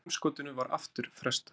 Geimskotinu var aftur frestað